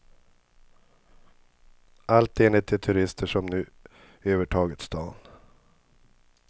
Allt enligt de turister som nu övertagit stan.